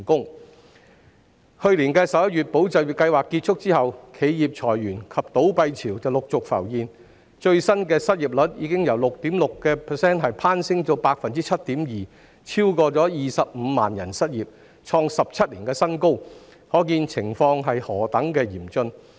"保就業"計劃於去年11月結束後，企業裁員及倒閉潮陸續浮現，最新的失業率由 6.6% 攀升至 7.2%， 超過25萬人失業，創17年新高，可見情況何等嚴峻。